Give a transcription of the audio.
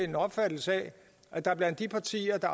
en opfattelse af at der blandt de partier der